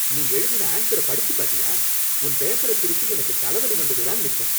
நீ எழுதின ஆன்ஸர படிச்சு பாத்தியா உன் பேப்பர திருத்தி எனக்கு தலவலி வந்தது தான் மிச்சம்?